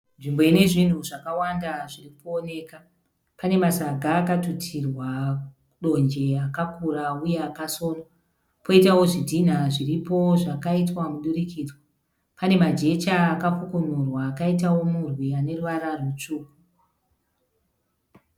Nzvimbo ine zvinhu zvakawanda zviri kuoneka. Pane masaga akatutirwa donje akakura wuye akasonwa. Poitawo zvinhinha zviripo zvakaitwa mudurikidzwa. Pane majecha akakukunurwa akaitawo murwi ane ruvara rwutsvuku.